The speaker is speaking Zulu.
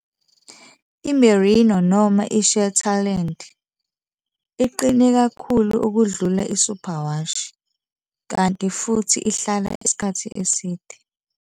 I-Merino noma i-Shetland iqine kakhulu ukudlula i-Super wash kanti futhi ihlala isikhathi eside.